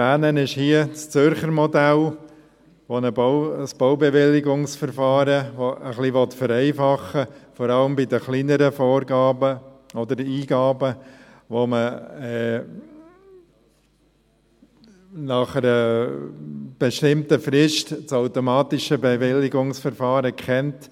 Zu erwähnen ist hier das Zürcher Modell, welches ein Baubewilligungsverfahren ein wenig vereinfachen will, vor allem bei den kleineren Eingaben, bei welchen man nach einer bestimmten Frist das automatische Bewilligungsverfahren kennt.